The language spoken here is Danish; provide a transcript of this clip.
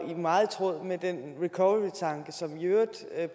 er meget i tråd med den recovery tanke som i øvrigt